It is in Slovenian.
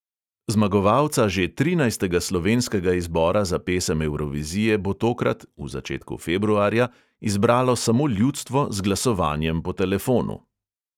Zmagovalca že trinajstega slovenskega izbora za pesem evrovizije bo tokrat – v začetku februarja – izbralo samo ljudstvo z glasovanjem po telefonu.